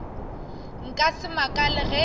nka se makale ge e